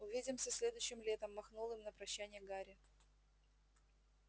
увидимся следующим летом махнул им на прощанье гарри